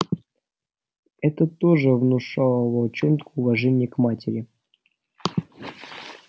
это тоже внушало волчонку уважение к матери